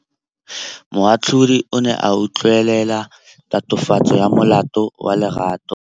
Moatlhodi o ne a utlwelela tatofatsô ya molato wa Lerato.